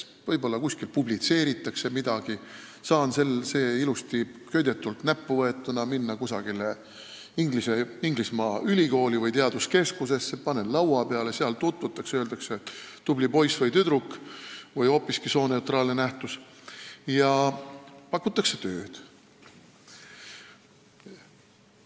Võib-olla see kuskil publitseeritakse, saan selle ilusti köidetult näppu võtta ja minna mõnda Inglismaa ülikooli või teaduskeskusesse, panen laua peale, seal tutvutakse, öeldakse, et tubli poiss või tüdruk või hoopiski sooneutraalne nähtus, ja pakutakse tööd.